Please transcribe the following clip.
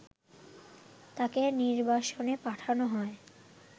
তাকে নির্বাসনে পাঠানো হয়